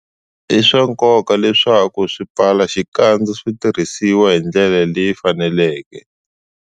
I swa nkoka leswaku swipfalaxikandza swi tirhisiwa hi ndlela leyi faneleke.